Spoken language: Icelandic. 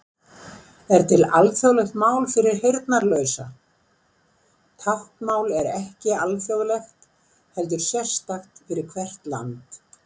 Er til alþjóðlegt mál fyrir heyrnarlausa?: Táknmál er ekki alþjóðlegt heldur sérstakt fyrir hvert land.